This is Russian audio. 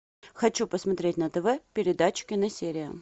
хочу посмотреть на тв передачу киносерия